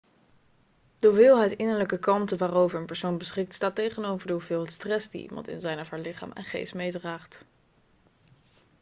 de hoeveelheid innerlijke kalmte waarover een persoon beschikt staat tegenover de hoeveelheid stress die iemand in zijn of haar lichaam en geest meedraagt